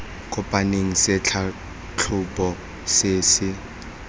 kopaneng se tlhatlhoba se se